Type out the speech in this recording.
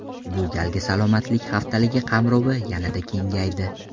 Bu galgi Salomatlik haftaligi qamrovi yanada kengaydi.